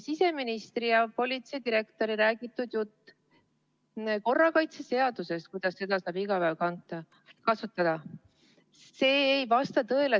Siseministri ja politseidirektori jutt korrakaitseseadusest, kuidas seda saab iga päev kasutada, ei vasta tõele.